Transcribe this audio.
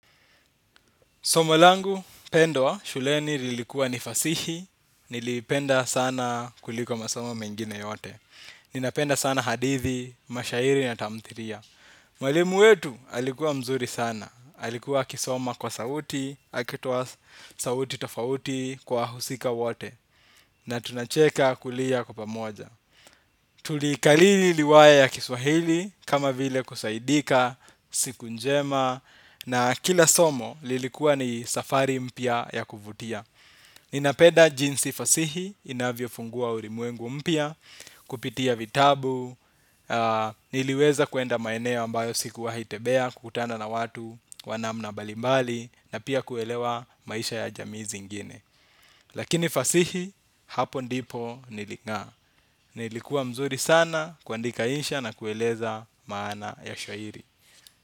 Somo langu, pendwa, shuleni lilikua nifasihi, nilipenda sana kuliko masomo mengine yote. Ninapenda sana hadithi, mashairi na tamthiria. Mwalimu wetu, alikuwa mzuri sana. Alikuwa akisoma kwa sauti, akitoa sauti tofauti kwa husika wote. Na tunacheka kulia kwa pamoja. Tulikalili liwaya ya kiswahili, kama vile kusaidika, siku njema. Na kila somo lilikuwa ni safari mpya ya kuvutia. Nina peda jinsi fasihi inavyo fungua urimuengu mpya. Kupitia vitabu niliweza kuenda maeneo ambayo sikuwahi tebea kukutana na watu wa namna balimbali na pia kuelewa maisha ya jamii zingine. Lakini fasihi hapo ndipo nili n'gaa. Nilikuwa mzuri sana kuandika insha na kueleza maana ya shairi.